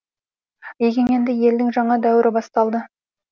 егеменді елдің жаңа дәуірі басталды